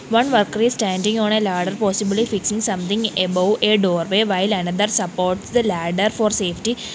one worker is standing on a ladder possibly fixing something above a doorway while another supports the ladder for safety.